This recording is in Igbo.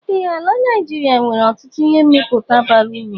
Ee ala Naijiria nwere ọtụtụ ihe mmịpụta bara uru.